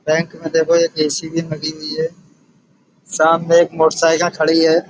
Bank में देखो AC. भी लगी हुई है। सामने एक मोटर साईकिल खड़ी है।